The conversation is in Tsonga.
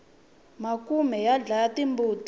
makhume ya dlaya timbuti